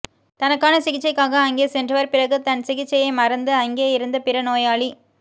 தனக்கான சிகிச்சைக்காக அங்கே சென்றவர் பிறகு தன் சிகிச்சையை மறந்து அங்கே இருந்த பிற நோயாளி